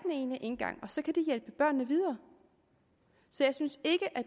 ene indgang og så kan de hjælpe børnene videre så jeg synes